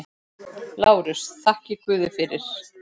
LÁRUS: Þakkið guði fyrir.